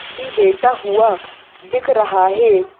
भी बेटा हुआ दिख रहा है ।